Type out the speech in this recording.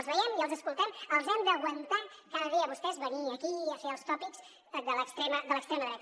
els veiem i els escoltem els hem d’aguantar cada dia a vostès a venir aquí i a fer els tòpics de l’extrema dreta